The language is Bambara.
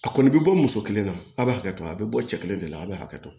A kɔni bɛ bɔ muso kelen na a b'a hakɛ to a bɛ bɔ cɛ kelen de la a b'a hakɛ to